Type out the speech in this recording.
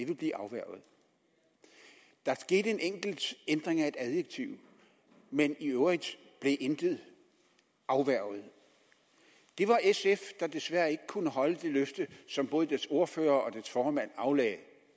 vil blive afværget der skete en enkelt ændring af et adjektiv men i øvrigt blev intet afværget det var sf der desværre ikke kunne holde det løfte som både dets ordfører og dets formand aflagde